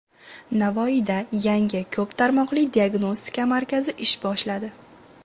Navoiyda yangi ko‘p tarmoqli diagnostika markazi ish boshladi.